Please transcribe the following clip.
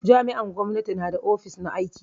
Jami'an gwamnati na da ofis na aiki.